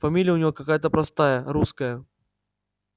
фамилия у него какая-то простая русская